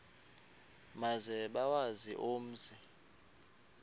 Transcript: maze bawazi umzi